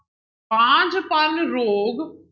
ਬਾਂਝਪਣ ਰੋਗ।